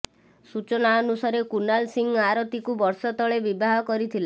ସୂଚନା ଅନୁସାରେ କୁନାଲ ସିଂ ଆରତୀକୁ ବର୍ଷେ ତଳେ ବିବାହ କରିଥିଲା